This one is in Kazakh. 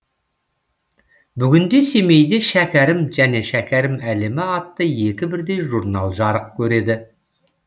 бүгінде семейде шәкәрім және шәкәрім әлемі атты екі бірдей журнал жарық көреді